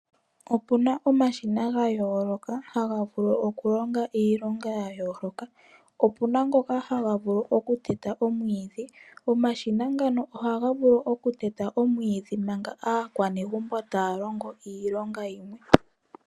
Opuna omashina ga yooloka haga vulu okulonga iilonga ya yooloka, opuna ngoka haga vulu okuteta omwiidhi. Omashina ngano ohaga vulu okuteta omwiidhi manga aakwanegumbo taya longo iilonga yimwe.